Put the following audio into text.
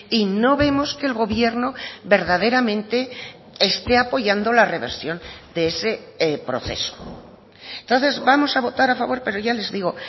y no vemos que el gobierno verdaderamente esté apoyando la reversión de ese proceso entonces vamos a votar a favor pero ya les digo